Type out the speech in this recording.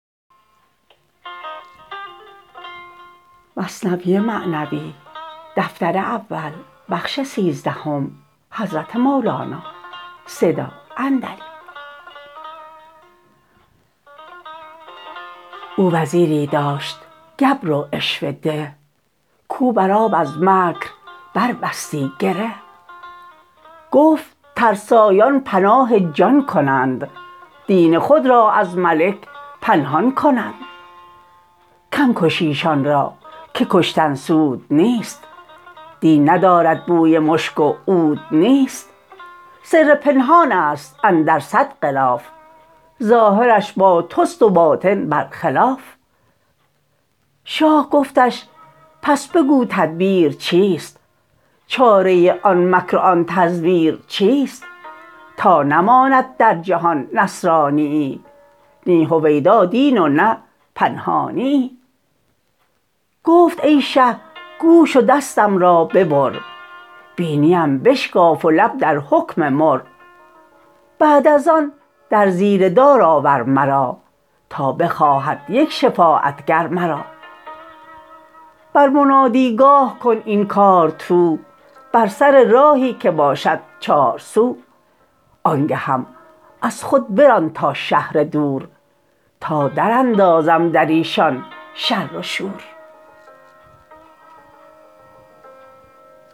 او وزیری داشت گبر و عشوه ده کو بر آب از مکر بر بستی گره گفت ترسایان پناه جان کنند دین خود را از ملک پنهان کنند کم کش ایشان را که کشتن سود نیست دین ندارد بوی مشک و عود نیست سر پنهانست اندر صد غلاف ظاهرش با تست و باطن بر خلاف شاه گفتش پس بگو تدبیر چیست چاره آن مکر و آن تزویر چیست تا نماند در جهان نصرانیی نی هویدا دین و نه پنهانیی گفت ای شه گوش و دستم را ببر بینی ام بشکاف و لب در حکم مر بعد از آن در زیر دار آور مرا تا بخواهد یک شفاعت گر مرا بر منادی گاه کن این کار تو بر سر راهی که باشد چارسو آنگهم از خود بران تا شهر دور تا در اندازم دریشان شر و شور